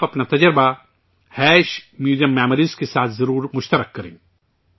آپ اپنا تجربہ میوزیمیموریز کے ساتھ ضرور شیئر کریں